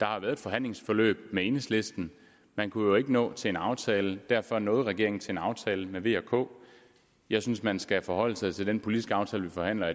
har været et forhandlingsforløb med enhedslisten man kunne jo ikke nå til en aftale og derfor nåede regeringen til en aftale med v og k jeg synes man skal forholde sig til den politiske aftale vi forhandler